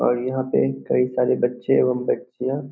और यहां पे कई सारे बच्चे एवं बच्चिया --